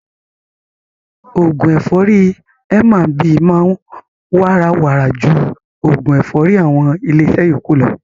Oògún ẹ̀fọ́rì M&B máa ń wàrà wàrà ju oògún ẹ̀fọ́rì àwọn ilé iṣẹ́ yókù lọ.